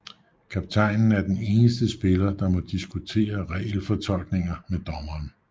Kaptajnen er den eneste spiller der må diskutere regelfortolkninger med dommeren